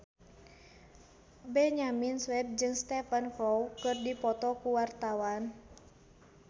Benyamin Sueb jeung Stephen Chow keur dipoto ku wartawan